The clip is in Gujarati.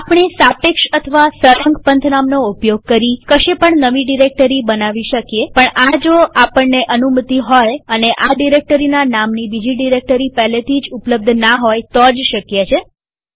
આપણે સાપેક્ષ અથવા સળંગ પંથનામનો ઉપયોગ કરી કશે પણ નવી ડિરેક્ટરી બનાવી શકીએ પણ આ જો આપણને અનુમતિ હોય અને આ ડિરેક્ટરીના નામની બીજી ડિરેક્ટરી પહેલેથી જ ઉપલબ્ધના હોય તો જ શક્ય છે